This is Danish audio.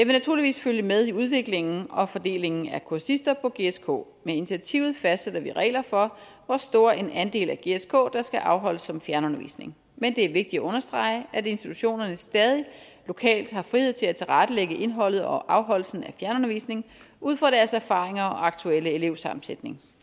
naturligvis følge med i udviklingen og fordelingen af kursister på gsk med initiativet fastsætter vi regler for hvor stor en andel af gsk der skal afholdes som fjernundervisning men det er vigtigt at understrege at institutionerne stadig lokalt har frihed til at tilrettelægge indholdet og afholdelsen af fjernundervisning ud fra deres erfaringer og aktuelle elevsammensætning